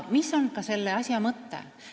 Mis on selle asja mõte?